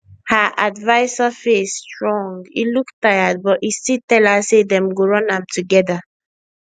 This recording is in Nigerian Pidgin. her adviser face strong e look tired but e still tell her say dem go run am together